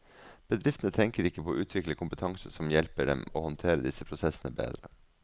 Bedriftene tenker ikke på å utvikle kompetanse som hjelper dem å håndtere disse prosessene bedre.